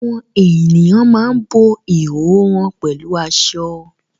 Àwọn ènìyàn máa ń bo ìhòhò wọn pẹ̀lú aṣọ